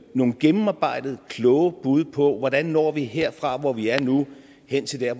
nogle gennemarbejdede kloge bud på hvordan vi når her fra hvor vi er nu hen til der